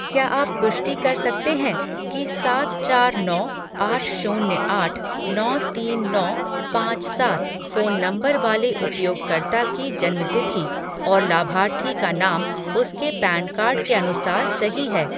क्या आप पुष्टि कर सकते हैं कि सात चार नौ आठ शून्य आठ नौ तीन नौ पाँच सात फ़ोन नंबर वाले उपयोगकर्ता की जन्म तिथि और लाभार्थी का नाम उसके पैन कार्ड के अनुसार सही है